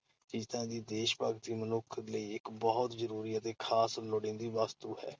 ਜ਼ਰੂਰੀ ਚੀਜ਼ ਤਾਂ ਵੀ ਦੇਸ਼-ਭਗਤੀ ਮਨੁੱਖ ਲਈ ਇਕ ਬਹੁਤ ਜ਼ਰੂਰੀ ਅਤੇ ਖ਼ਾਸ ਲੋੜੀਂਦੀ ਵਸਤੂ ਹੈ।